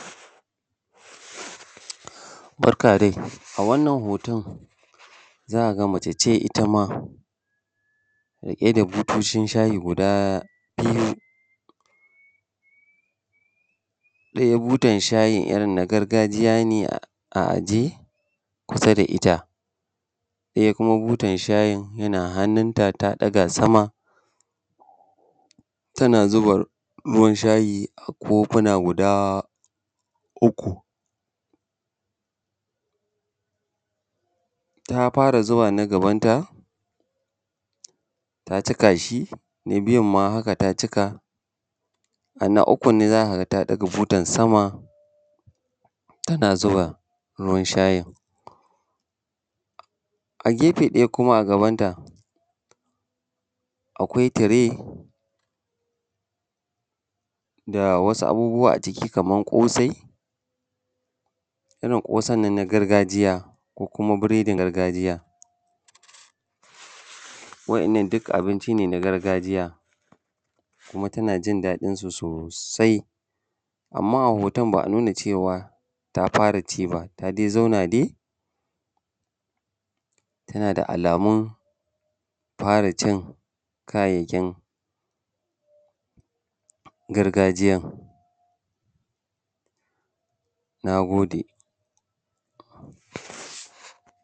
Barka dai a wannan hoton za ka ga mace ce ita ma riƙe da butocin shayi guda biyu, ɗaya butan shayin irin na gargajiya ne a ajiye kusa da it, a ɗaya kuma butan shayin yana hannun ta, ta ɗaga sama tana zuba ruwan shayi a kofuna guda uku. Ta fara zuba na gaban ta, ta cika shi na biyun ma haka ta cika, a na ukun ne za ka ga ta ɗaga butan sama tana zuba ruwan shayin. A gefe ɗaya kuma a gabanta akwai tire da wasu abubuwa a ciki kaman ƙosai, irin ƙosan nan na gargajiya ko kuma breadin gargajiya. Wa'innan duk abinci ne na gargajiya, kuma tana jin daɗin su sosai. Amman a hoton ba a nuna cewa ta fara ci ba ta dai zauna dai tana da alamun fara cin kayayyakin gargajiyan. Na gode.